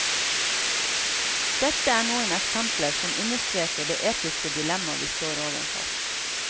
Dette er noen eksempler som understreker det etiske dilemma vi står overfor.